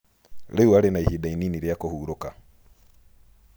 Rĩu arĩ na ihinda inini rĩa kũhurũka.